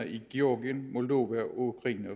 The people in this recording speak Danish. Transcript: i georgien moldova og ukraine